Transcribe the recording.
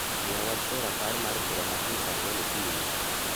Miya wach e rapar mar bura ma kiny saa ang'wen okinyi